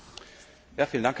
Herr Präsident!